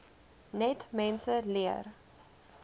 net mense leer